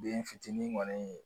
Den fitini kɔni